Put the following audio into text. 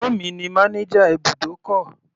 Ẹ̀gbọ́n mi ní manager ibùdókọ̀.